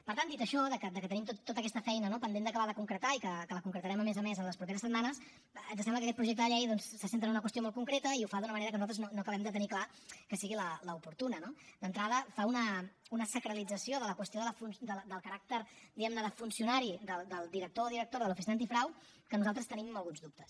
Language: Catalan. per tant dit això que tenim tota aquesta feina no pendent d’acabar de concretar i que la concretarem a més a més en les properes setmanes ens sembla que aquest projecte de llei se centra en una qüestió molt concreta i ho fa d’una manera que nosaltres no acabem de tenir clar que sigui l’oportuna no d’entrada fa una sacralització de la qüestió del caràcter diguem ne de funcionari del director o directora de l’oficina antifrau que nosaltres tenim alguns dubtes